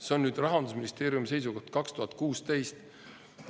See on nüüd Rahandusministeeriumi seisukoht, 2016.